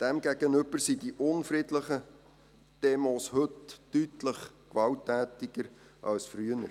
Demgegenüber sind die unfriedlichen Demos heute deutlich gewalttätiger als früher.